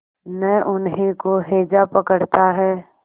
न उन्हीं को हैजा पकड़ता है